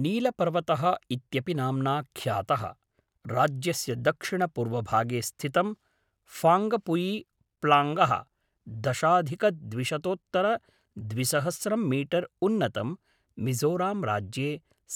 नीलपर्वतः इत्यपि नाम्ना ख्यातः, राज्यस्य दक्षिणपूर्वभागे स्थितं फाङ्गपुयी त्लाङ्गः दशाधिकद्विशतोत्तरद्विसहस्रं मीटर् उन्नतं मिजोरम्राज्ये